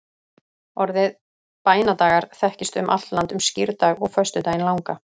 orðið bænadagar þekkist um allt land um skírdag og föstudaginn langa